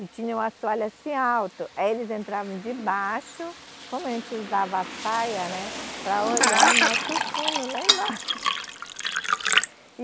e tinha um assoalho assim alto, aí eles entravam de baixo, como a gente usava a saia, né, para olhar o nosso fundo lá embaixo. e